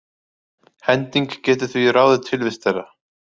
Hending getur því ráðið tilvist þeirra.